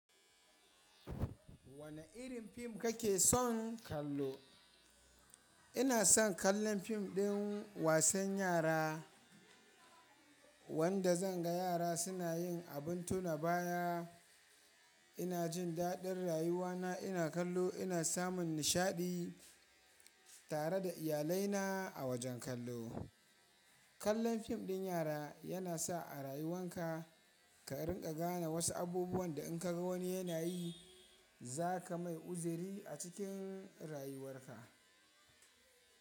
Wane irin fim kake son kallo? Ina son kallon fim ɗin wasan yara wanda zan ga yara suna yin abin tunaba ya. Ina jin daɗin rayuwana ina kallo ina samun nishaɗi tare da iyalaina a wajen kallo. Kallon fim ɗin yara yana sa a rayuwan ka ka rinƙa gane wasu abubuwan da in ka ga wani yana yi za ka mai uzuri a cikin rayuwar ka.